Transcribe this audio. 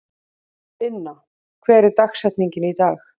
Inna, hver er dagsetningin í dag?